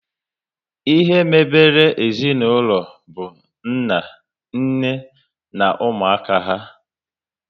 Ihe mebere ezinaụlọ bụ nna, nne na ụmụaka há